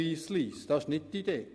Das ist nicht die Idee.